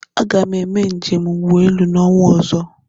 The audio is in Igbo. Aga m eme njem ụgbọelu n'ọnwa ozo